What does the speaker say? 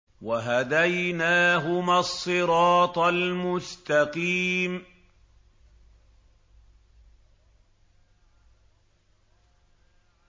وَهَدَيْنَاهُمَا الصِّرَاطَ الْمُسْتَقِيمَ